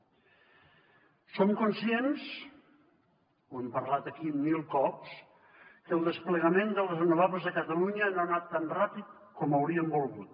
som conscients ho hem parlat aquí mil cops que el desplegament de les renovables a catalunya no ha anat tan ràpid com hauríem volgut